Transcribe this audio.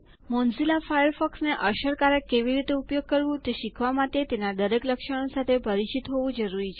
Mozilla ફાયરફોક્સને અસરકારક કેવી રીતે ઉપયોગ કરવું તે શીખવા માટે તમારે તેના દરેક લક્ષણો સાથે પરિચિત હોવું જરૂરી છે